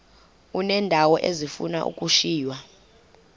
uneendawo ezifuna ukushiywa